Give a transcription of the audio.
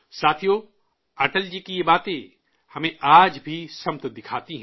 ساتھیو، اٹل جی کی یہ باتیں آج بھی ہماری راہنمائی کرتی ہیں